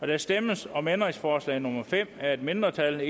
der stemmes om ændringsforslag nummer fem af et mindretal